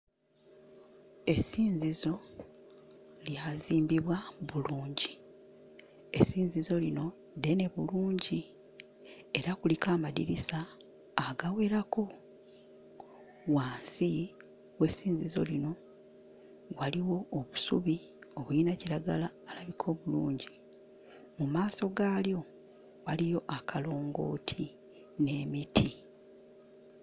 Essinzizo lyazimbibwa bulungi. Essinziso lino ddene bulungi era kuliko amadirisa agawerako. Wansi w'essinzizo lino waliwo obusubi obuyina kiragala alabika obulungi. Mu maaso gaalyo waliyo akalongooti n'emiti.